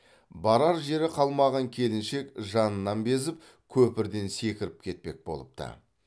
барар жері қалмаған келіншек жанынан безіп көпірден секіріп кетпек болыпты